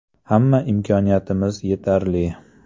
Hamma imkoniyatimiz yetarli.